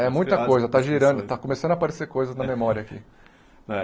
É, muita coisa, está girando, está começando a aparecer coisas na memória aqui. É